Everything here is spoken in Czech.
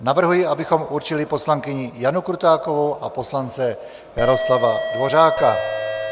Navrhuji, abychom určili poslankyni Janu Krutákovou a poslance Jaroslava Dvořáka.